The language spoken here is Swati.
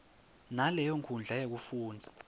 naleyo nkhundla yekufundza